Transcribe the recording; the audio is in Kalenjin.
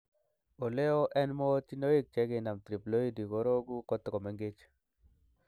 Oleo en mootinoik chekinam triploidy kororoku kotokomengech.